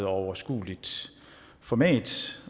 overskueligt format